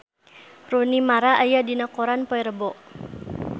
Rooney Mara aya dina koran poe Rebo